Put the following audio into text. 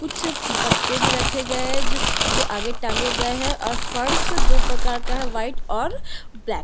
कुछ पत्ते भी रखे गए है जो आगे टांगे गए है और फर्स दो प्रकार का है व्हाइट और ब्लैक--